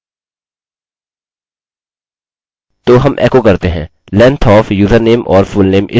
यहाँ मैं उल्लिखित या लिखने जा रहा हूँ if अब अपने पासवर्ड्स समानता को याद करें